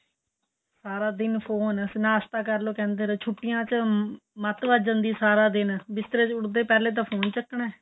ਸਾਰਾ ਦਿਨ ਫੋਨ ਨਾਸਤਾ ਕਰਲੋ ਕਹਿੰਦੇ ਰਹੋ ਛੁੱਟੀਆ ਚ ਮੱਤ ਵੱਜ ਜਾਂਦੀ ਏ ਸਾਰਾ ਦਿਨ ਬਿਸਤਰੇ ਵਿੱਚ ਉੱਠਦੇ ਪਹਿਲਾਂ ਤਾਂ ਫੋਨ ਚੱਕਣਾ ਏ